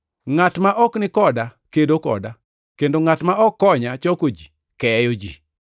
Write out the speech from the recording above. “Ngʼat ma ok ni koda kedo koda, kendo ngʼat ma ok konya choko ji, keyo ji.